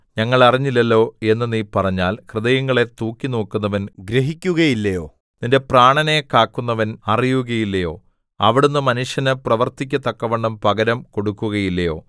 ഞങ്ങൾ അറിഞ്ഞില്ലല്ലോ എന്ന് നീ പറഞ്ഞാൽ ഹൃദയങ്ങളെ തൂക്കിനോക്കുന്നവൻ ഗ്രഹിക്കുകയില്ലയോ നിന്റെ പ്രാണനെ കാക്കുന്നവൻ അറിയുകയില്ലയോ അവിടുന്ന് മനുഷ്യന് പ്രവൃത്തിക്ക് തക്കവണ്ണം പകരം കൊടുക്കുകയില്ലയോ